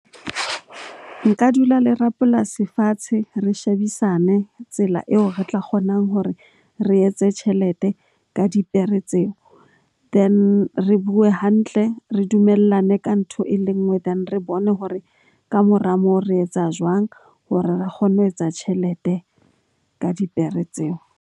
Nka dula le rapolasi fatshe re shebisane tsela eo re tla kgonang hore re etse tjhelete ka dipere tseo. Then re bue hantle, re dumellane ka ntho e le nngwe. Then, re bone hore ka mora moo re etsa jwang hore re kgone ho etsa tjhelete ka dipere tseo.